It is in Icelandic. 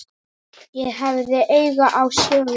Ég hafði áhuga á sögu